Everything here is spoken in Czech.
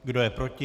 Kdo je proti?